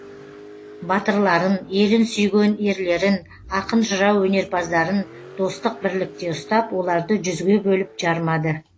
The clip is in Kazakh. батырларын елін сүйген ерлерін ақын жырау өнерпаздарын достық бірлікте ұстап оларды жүзге бөліп жармады